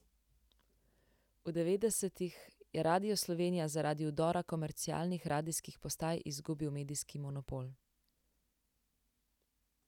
V devetdesetih je Radio Slovenija zaradi vdora komercialnih radijskih postaj izgubil medijski monopol.